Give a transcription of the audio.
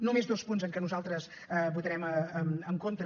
només dos punts en què nosaltres votarem en contra